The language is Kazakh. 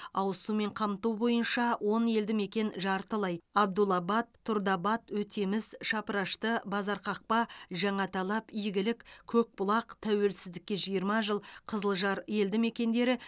ауыз сумен қамту бойынша он елді мекен жартылай абдулабад тұрдыабад өтеміс шапрашты базарқақпа жаңаталап игілік көкбұлақ тәуелсіздікке жиырма жыл қызылжар елді мекендері